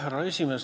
Härra esimees!